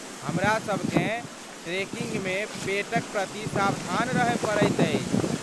हमरासभ केँ ट्रेकिंगमे पेटक प्रति सावधान रहय पड़ैत अछि।